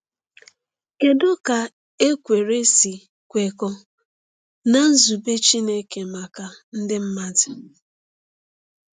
Kedu ka ekwere si kwekọọ na nzube Chineke maka ndị mmadụ?